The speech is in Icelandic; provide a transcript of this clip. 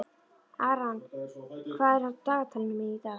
Aran, hvað er á dagatalinu mínu í dag?